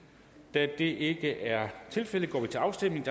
da det ikke er tilfældet går vi til afstemning